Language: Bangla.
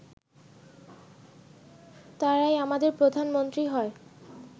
তারাই আমাদের প্রধানমন্ত্রী হয়